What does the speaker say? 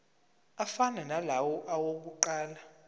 afana nalawo awokuqala